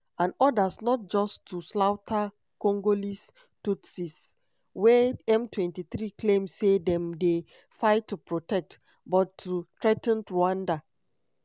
and odas not just to slaughter congolese tutsis - wey m23 claim say dem dey fight to protect - but to threa ten rwanda.